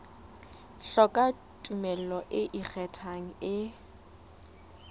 hloka tumello e ikgethang e